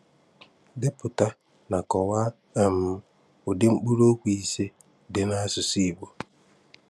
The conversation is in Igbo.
Depụta na kọwaa um ụdị mkpụrụokwu ise dị n’asụsụ Igbo.